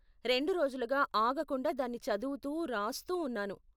రెండు రోజులుగా ఆగకుండా దాన్ని చదువుతూ, రాస్తూ ఉన్నాను.